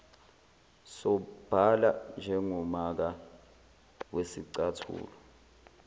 sobala njengomaka wesicathulo